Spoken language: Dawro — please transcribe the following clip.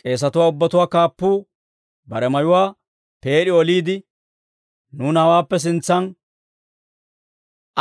K'eesatuwaa ubbatuwaa kaappuu bare mayuwaa peed'i oliide, «Nuuna hawaappe sintsan